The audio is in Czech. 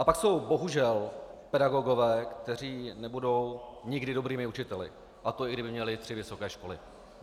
A pak jsou bohužel pedagogové, kteří nebudou nikdy dobrými učiteli, a to i kdyby měli tři vysoké školy.